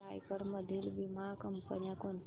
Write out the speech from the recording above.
रायगड मधील वीमा कंपन्या कोणत्या